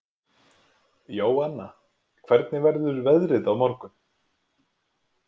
Jóanna, hvernig verður veðrið á morgun?